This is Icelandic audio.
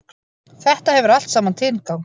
Þetta hefur allt saman tilgang.